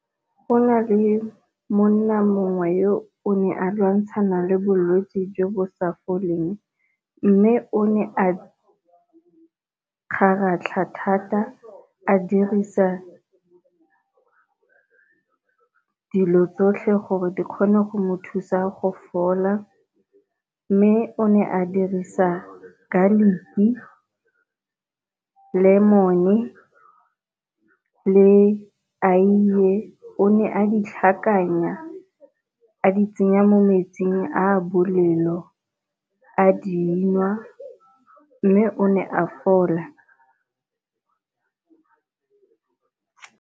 Go na le monna mongwe yo ne a lwantshana le bolwetse jo bo sa foleng, mme o ne a kgaratlha thata a dirisa dilo tsotlhe gore di kgone go mo thusa go fola. Mme o ne a dirisa garlic-ki, lemon-e, le ayie o ne a di tlhakanya a di tsenya mo metsing a bolelo a dinwa mme o ne a fola.